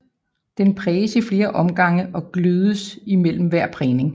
Den præges i flere omgange og glødes imellem hver prægning